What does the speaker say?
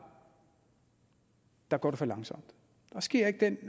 går for langsomt der sker ikke den